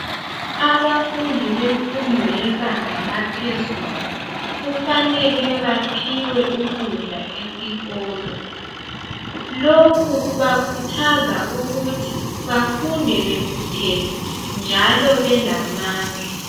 Abafundi bemfundo yebanga laphezulu ,kufanele baphiwe ukudla esikolo .Lokhu kubakhuthaza ukuthi bafunde bekhuthele njalo belamandla.